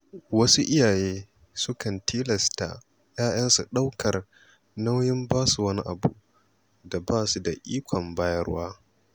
Wasu iyaye sukan tilasta ‘ya‘yansu ɗaukar nauyin basu wani abu da ba su da iko bayarwa.